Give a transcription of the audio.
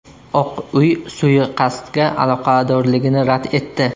Oq uy suiqasdga aloqadorligini rad etdi.